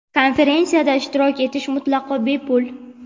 Konferensiyada ishtirok etish mutlaqo bepul.